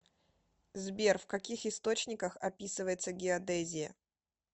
сбер в каких источниках описывается геодезия